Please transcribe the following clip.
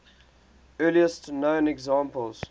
earliest known examples